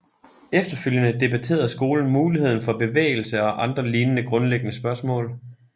Efterfølgende debatterede skolen muligheden for bevægelse og andre lignende grundlæggende spørgsmål